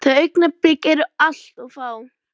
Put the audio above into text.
Þau augnablik eru bara allt of fá.